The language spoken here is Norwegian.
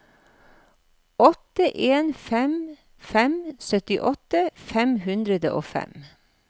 åtte en fem fem syttiåtte fem hundre og fem